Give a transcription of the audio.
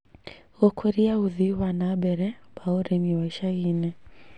Gũkũria ũthii wa na mbere wa ũrĩmi wa icagi-inĩ